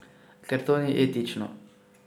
Ker to ni etično.